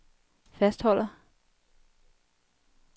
fastholder